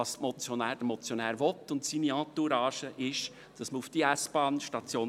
Was der Motionär und seine Entourage wollen, ist ein Verzicht auf die S-Bahnstation.